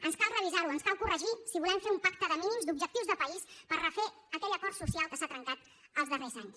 ens cal revisar ho ens cal corregir ho si volem fer un pacte de mínims d’objectius de país per refer aquell acord social que s’ha trencat els darrers anys